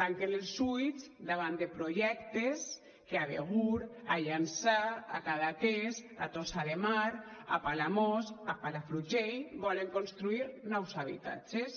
tanquen els ulls davant de projectes que a begur a llançà a cadaqués a tossa de mar a palamós a palafrugell volen construir nous habitatges